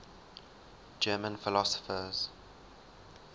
german philosophers